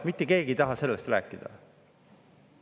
Mitte keegi ei taha sellest rääkida.